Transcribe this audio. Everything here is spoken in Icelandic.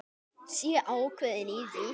Sé ákveðin í því.